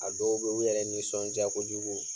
A dɔw be ye, u yɛrɛ nisɔndiya kojugu